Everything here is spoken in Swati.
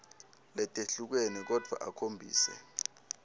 letehlukene kodvwa akhombise